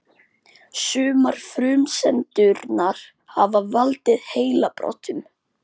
Sumar frumsendurnar hafa valdið heilabrotum.